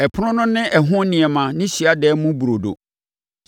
Ɛpono no ne ɛho nneɛma ne Hyiadan mu Burodo;